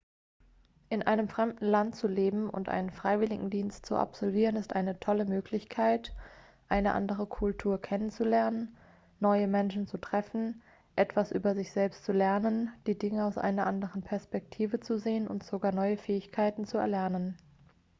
in einem fremden land zu leben und einen freiwilligendienst zu absolvieren ist eine tolle möglichkeit eine andere kultur kennenzulernen neue menschen zu treffen etwas über sich selbst zu lernen die dinge aus einer anderen perspektive zu sehen und sogar neue fähigkeiten zu erlernen